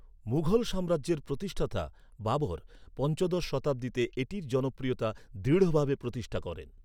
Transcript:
মুঘল সাম্রাজ্যের প্রতিষ্ঠাতা বাবর পঞ্চদশ শতাব্দীতে এটির জনপ্রিয়তা দৃঢ়ভাবে প্রতিষ্ঠা করেন।